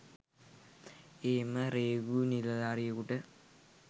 එහෙම රේගු නිලධාරියෙකුට